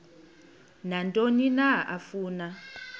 nantoni na afuna